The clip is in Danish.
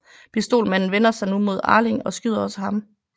Pistolmanden vender sig nu mod Arling og skyder også ham